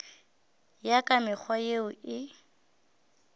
ya ka mekgwa yeo e